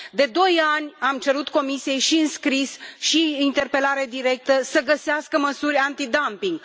De doi ani am cerut Comisiei, și în scris, și prin interpelare directă, să găsească măsuri antidumping.